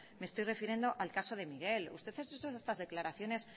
me estoy refiriendo al caso de miguel usted ha hecho estas declaraciones